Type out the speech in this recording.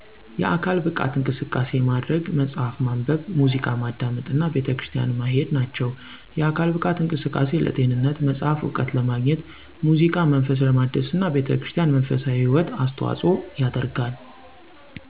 የአካል ብቃት እንቅስቃሴ ማድረግ፣ መጽሀፍ ማንበብ፣ ሙዚቃ ማዳመጥ እና ቤተክርስቲያን ማሄድ ናቸው። የአካል ብቃት እንቅስቃሴ ለጤንነት፣ መጽሐፍ እውቀት ለማግኘት፣ ሙዚቃ መንፈስ ለማደስና ቤተክርስቲያን መንፈሳዊ ህይወት አስተዋጽኦ ያደርጋል።